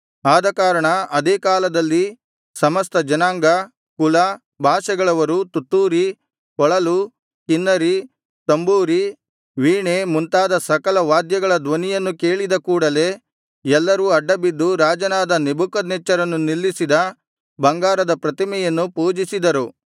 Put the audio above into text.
ಆದಕಾರಣ ಅದೇ ಕಾಲದಲ್ಲಿ ಸಮಸ್ತ ಜನಾಂಗ ಕುಲ ಭಾಷೆಗಳವರು ತುತ್ತೂರಿ ಕೊಳಲು ಕಿನ್ನರಿ ತಂಬೂರಿ ವೀಣೆ ಮುಂತಾದ ಸಕಲ ವಾದ್ಯಗಳ ಧ್ವನಿಯನ್ನು ಕೇಳಿದ ಕೂಡಲೆ ಎಲ್ಲರೂ ಅಡ್ಡಬಿದ್ದು ರಾಜನಾದ ನೆಬೂಕದ್ನೆಚ್ಚರನು ನಿಲ್ಲಿಸಿದ ಬಂಗಾರದ ಪ್ರತಿಮೆಯನ್ನು ಪೂಜಿಸಿದರು